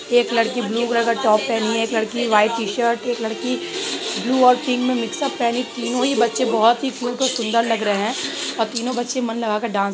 एक लड़की blue colour का टॉप पहनी है | एक लड़की वाइट टी-शर्ट एक लड़की ब्लू और पिंक में मिक्सउप पहनी है | तीनो ही बच्चे बहुत ही क्यूट और सुंदर लग रहे है और तीनो बच्चे मन लगा कर डांस सीख रहे --